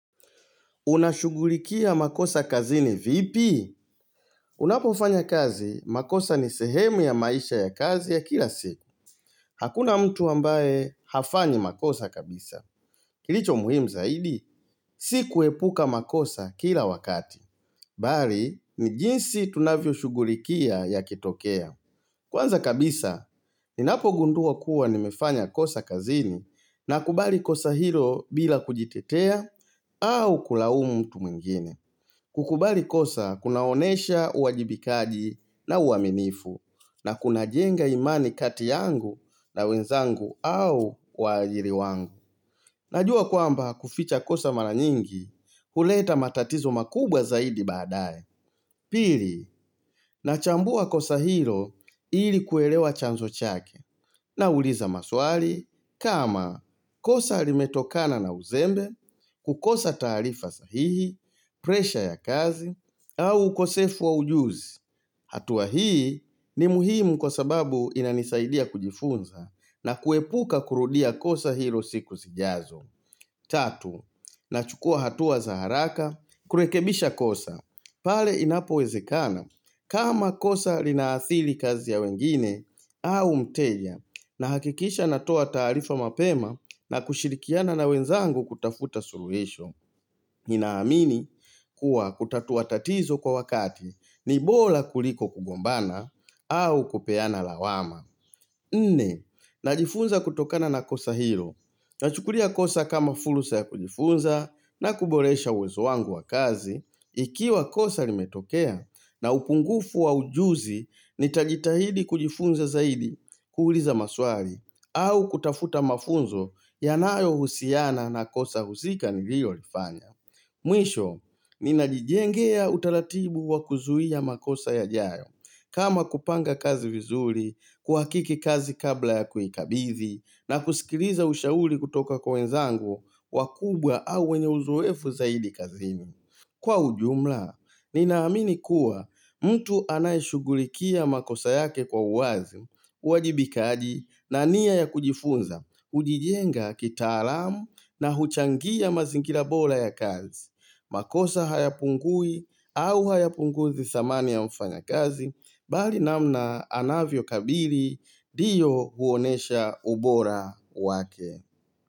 Unashugulikia makosa kazini vipi? Unapo fanya kazi, makosa ni sehemu ya maisha ya kazi ya kila siku. Hakuna mtu ambaye hafanyi makosa kabisa. Kilicho muhimu zaidi, si kuepuka makosa kila wakati. Bali, ni jinsi tunavyo shugulikia ya kitokea. Kwanza kabisa, ninapo gundua kuwa nimefanya kosa kazini na kubali kosa hilo bila kujitetea au kulaumu mtu mwingine. Kukubali kosa kunaonesha uajibikaji na uaminifu na kuna jenga imani kati yangu na wenzangu au waajiri wangu. Najua kwamba kuficha kosa mara nyingi huleta matatizo makubwa zaidi baadaye. Pili, nachambua kosa hilo ilikuelewa chanzo chake nauliza maswali kama kosa limetokana na uzembe, kukosa tarifa sahihi, presha ya kazi, au ukosefu wa ujuzi hatua hii ni muhimu kwa sababu inanisaidia kujifunza na kuepuka kurudia kosa hilo siku sijazo Tatu, nachukua hatua za haraka, kurekebisha kosa pale inapo wezekana, kama kosa linaathili kazi ya wengine, au mteja nahakikisha natoa taarifa mapema na kushirikiana na wenzangu kutafuta suluhisho ninaamini kuwa kutatua tatizo kwa wakati ni bora kuliko kugombana au kupeana lawama Nne, najifunza kutokana na kosa hilo Nachukulia kosa kama fulusa ya kujifunza na kuboresha uwezo wangu wa kazi Ikiwa kosa limetokea na upungufu wa ujuzi ni tajitahidi kujifunza zaidi kuuliza maswali au kutafuta mafunzo yanayo husiana na kosa husika nilio lifanya. Mwisho, ninajijengea utaratibu wa kuzuia makosa yaajayo kama kupanga kazi vizuri, kuhakiki kazi kabla ya kuikabidhi na kusikiliza ushauri kutoka kwa wenzangu wakubwa au wenye uzuefu zaidi kazini. Kwa ujumla, ninaamini kuwa mtu anayeshugulikia makosa yake kwa uwazi uwajibikaji na nia ya kujifunza, hujijenga kitaalamu na huchangia mazingira bora ya kazi makosa hayapungui au hayapunguzi dhamani ya mfanya kazi Bali namna anavyo kabili ndiyo huonesha ubora wake.